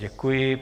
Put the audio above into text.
Děkuji.